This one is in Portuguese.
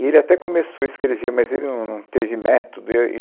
E ele até começou a escrever, mas ele não não teve método, e.